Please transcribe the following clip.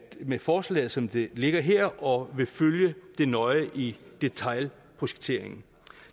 med forslaget som det ligger her og vil følge det nøje i detailprojekteringen